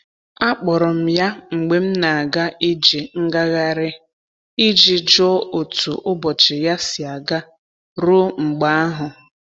Akpọrọ m ya mgbe m na'aga ije ngaghari i ji jụọ otu ụbọchị ya si aga ruo mgbe ahụ.